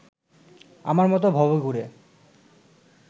আমার মতো ভবঘুরে